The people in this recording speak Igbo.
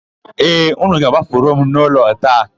Ee, ụnụ ga-agbafuru m n'ụlọ a taa.